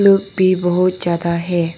धूप भी बहुत ज्यादा है।